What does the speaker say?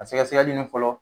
A sɛkɛsɛkɛli nin fɔlɔ